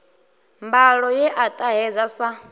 mbalo ye a ṱahedza sa